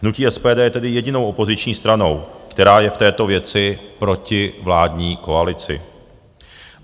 Hnutí SPD tedy je jedinou opoziční stranou, která je v této věci proti vládní koalici.